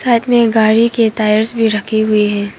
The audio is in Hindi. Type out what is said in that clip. साथ में गाड़ी के टायर्स भी रखे हुए है।